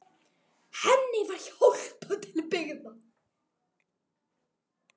Henni var hjálpað til byggða.